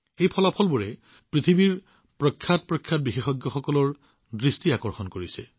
এই ফলাফলবোৰে পৃথিৱীৰ আটাইতকৈ ডাঙৰ বিশেষজ্ঞসকলৰ দৃষ্টি আকৰ্ষণ কৰিছে